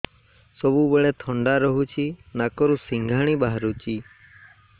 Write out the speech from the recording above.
ସବୁବେଳେ ଥଣ୍ଡା ରହୁଛି ନାକରୁ ସିଙ୍ଗାଣି ବାହାରୁଚି